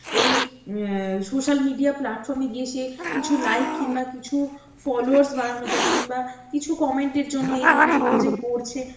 এই um social media platform এ গিয়ে সে কিছু like বা কিনবা কিছু followers বাড়ানোর জন্য কিনবা কিছু comment এর জন্য এই জিনিস গুলো যে করছে